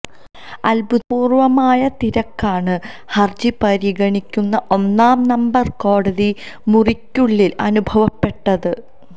അഭൂതപൂര്വ്വമായ തിരക്കാണ് ഹര്ജി പരിഗണിക്കുന്ന ഒന്നാം നമ്പര് കോടതി മുറിക്കുള്ളിൽ അനുഭവപ്പെട്ടത്